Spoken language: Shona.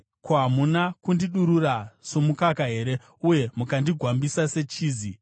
Hamuna kundidurura somukaka here uye mukandigwambisa sechizi,